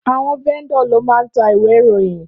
Áwòn vèndò ló má n tá iwé iróyin